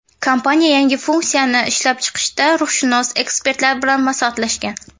Kompaniya yangi funksiyani ishlab chiqishda ruhshunos ekspertlar bilan maslahatlashgan.